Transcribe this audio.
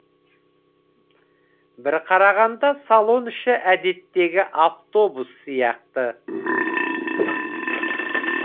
бір қарағанда салон іші әдеттегі автобус сияқты